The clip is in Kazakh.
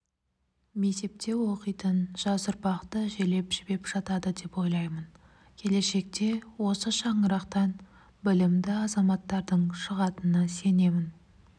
мектепте оқитын жас ұрпақты желеп-жебеп жатады деп ойлаймын келешекте осы шаңырақтан білімді азаматтардың шығатынына сенемін